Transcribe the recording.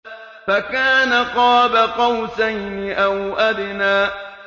فَكَانَ قَابَ قَوْسَيْنِ أَوْ أَدْنَىٰ